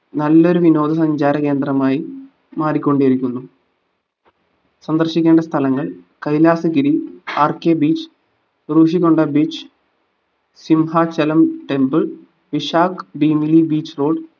നല്ലൊരു വിനോദ സഞ്ചാര കേന്ദ്രമായി മാറിക്കൊണ്ടിരിക്കുന്നു സന്ദർശിക്കേണ്ട സ്ഥലങ്ങൾ Kailasagiri rkbeach Rushikonda beach Simhachalam temple Vizag Bheemili beach road